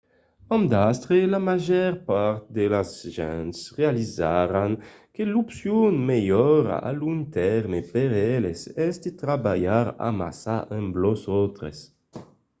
amb d'astre la màger part de las gents realizaràn que l'opcion melhora a long tèrme per eles es de trabalhar amassa amb los autres